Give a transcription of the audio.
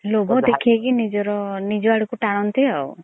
ଲୋଭ ଦେଖେଇକି ନିଜର ନିଜ ଆଡକୁ ଟାଣନ୍ତି ଆଉ।